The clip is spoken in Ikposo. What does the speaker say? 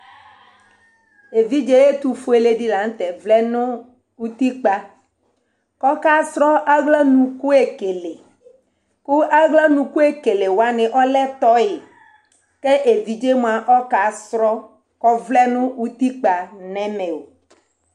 Evidze ɛtu fʋele ɖila ŋtɛ xlẽ ŋu utikpa Ɔka srɔ aɣla nukʋ ekele Aɣla nukʋ ekele waŋi ɔlɛ toy kʋ evidze ɔka srɔ Ɔvlɛ ŋu utikpa ŋu ɛmɛ o